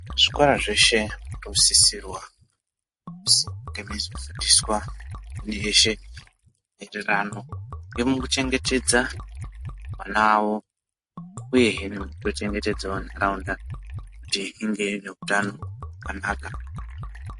Zvikora zveshe zvinosisirwa kuzi nge meizofundiswa ndi yeshe enderano ngemekuchengetedza ana awo uyehe nekuchengetedzawo ntaraunda kuti inge ine utano hwakanaka.